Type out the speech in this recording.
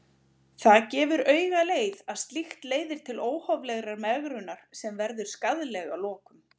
Það gefur augaleið að slíkt leiðir til óhóflegrar megrunar sem verður skaðleg að lokum.